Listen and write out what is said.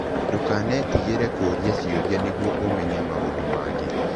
Ndũkanetigĩre kũũria ciũria nĩguo ũmenye maũndũ mangĩ.